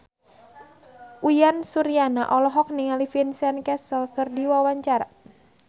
Uyan Suryana olohok ningali Vincent Cassel keur diwawancara